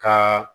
Ka